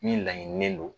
Min laɲininen don